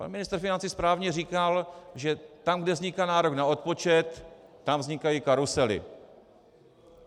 Pan ministr financí správně říkal, že tam, kde vzniká nárok na odpočet, tam vznikají karusely.